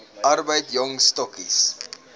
arbeid jong stokkies